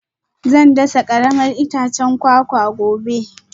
Zan dasa karamar itacen kwakwa gobe